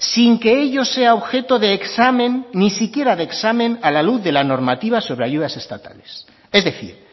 sin que ello sea objeto de examen ni siquiera de examen a la luz de la normativa sobre ayudas estatales es decir